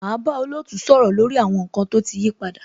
Máa bá olootu sọ̀rọ̀ lórí àwọn nkan tó ti yí padà.